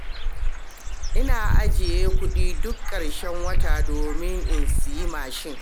Ina ajiye kuɗi duk ƙarshen wata domin in siyi mashin.